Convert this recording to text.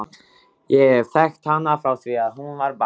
Ég hef þekkt hana frá því að hún var barn.